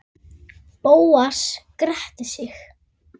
Bóas gretti sig.